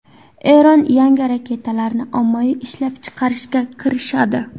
Eron yangi raketalarni ommaviy ishlab chiqarishga kirishadi.